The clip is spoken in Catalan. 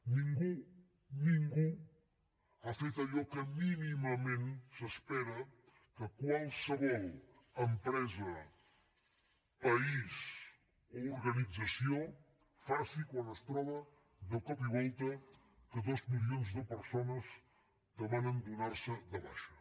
ningú ningú ha fet allò que mínimament s’espera que qualsevol empresa país o organització faci quan es troba de cop i volta que dos milions de persones demanen donar se de baixa